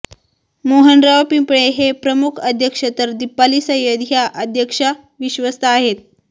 मोहनराव पिंपळे हे प्रमुख अध्यक्ष तर दिपाली सय्यद हया अध्यक्षा विश्वस्त आहेत